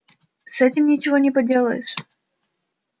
с этим ничего не поделаешь